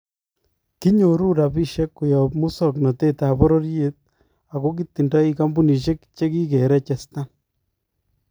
Kinyoruu rabisiek koyaab musoknotetab bororyet ako kitindoi kampunisyeek chekikerechetan